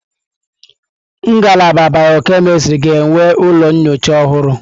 Ngalaba bịọ-kemịstrị ga-enwe ụlọ nyocha ọhụrụ.